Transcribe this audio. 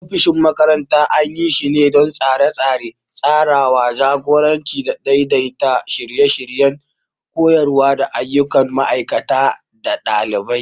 Ofishin shugaban makarantar anyi shine don Tsare-tsare, tsarawa, jagoranci da daidaita shirye-shiryen koyarwa da ayyukan ma'aikata da ɗalibai.